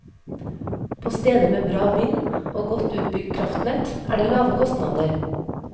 På steder med bra vind og godt utbygd kraftnett er det lave kostnader.